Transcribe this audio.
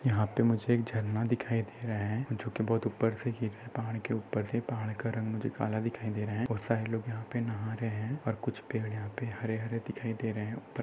यहा पे मुझे एक झरना दिखाई दे रहा है जो कि बहुत उपर से गिर रहा पहाड़ के उपर से पहाड का रंग भी काला दिखाई दे रहा है और सारे लोग यहा नहा रहे है और कुछ पड़े यहा पर हरे हरे दिखाई दे रहे है।